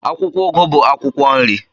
Akwụkwọ ugu bụ akwụkwọ nri.